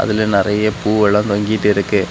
இங்க நிறைய பூவெல்லாம் தொங்கிட்டு இருக்கு.